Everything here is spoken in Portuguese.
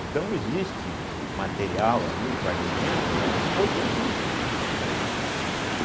Então existe material ali, fragmentos, né, importantíssimos ali.